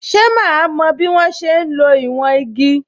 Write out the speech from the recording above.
So máa mo bí wọ́n ṣe ń lo ìwọ̀n igi?